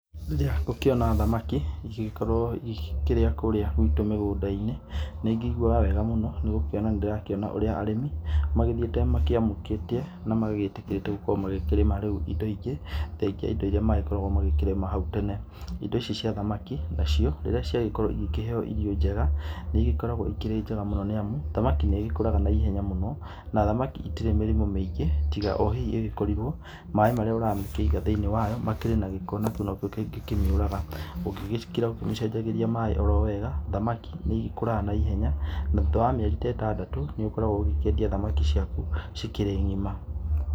Rĩrĩa ngũkĩona thamaki igĩgĩkorũo igĩkĩrĩa kũrĩa guitũ mĩgũnda-inĩ, nĩ ngĩiguaga wega mũno, nĩ gũkorũo nĩ ndĩrakĩona ũrĩa arĩmi magĩthiĩte makĩamũkĩtie na magagĩtĩkĩra gũkorũo rĩu magĩkĩrĩma rĩu indo ingĩ thengia rĩu ya indo iria magĩkoragũo magĩkĩrĩma hau tene. Indo ici cia thamaki nacio rĩrĩa cia gĩkorũo igĩkĩheo irio njega nĩ igĩkoragũo igĩkĩrĩ njega mũno, nĩamu thamaki nĩ gĩkũraga na ihenya mũno. Na thamaki itirĩ mĩrimũ mĩingĩ tiga o hihi ĩgĩkorirũo maaĩ marĩa ũragĩkĩmĩiga thĩinĩ wayo makĩrĩ na gĩko. Na kĩu nokĩo kĩngĩ kĩmĩũraga, ũngĩgĩkira ũkĩmĩcenjagĩria maaĩ o rowega thamaki nĩ igĩkũraga na ihenya, na thutha wa mĩeri na ĩtandatũ nĩ ũgĩkoragũo ũgĩkĩendia thamaki ciaku ci kĩrĩ ngʹima.